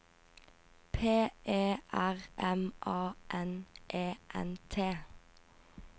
P E R M A N E N T